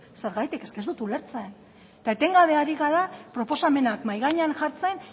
zergatik eske ez du ulertzen eta etengabe ari gara proposamenak mahai gainean jartzen